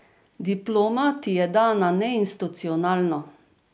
Diploma ti je dana neinstitucionalno.